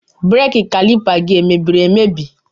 Brake Caliper gi emebiri emebi?